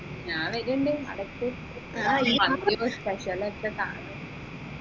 ഞാൻ വരും മന്തിയും special ഒക്കെ കാണും